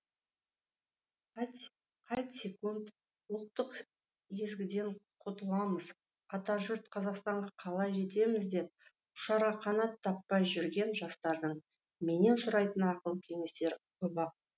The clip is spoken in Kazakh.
қайтсекунд ұлттық езгіден құтыламыз атажұрт қазақстанға қалай жетеміз деп ұшарға қанат таппай жүрген жастардың менен сұрайтын ақыл кеңестері көп ақ